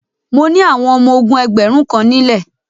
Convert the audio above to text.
Mo ni àwọn ọmọ ogún ẹgbẹ̀rún kan nílẹ.